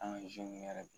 An ka yɛrɛ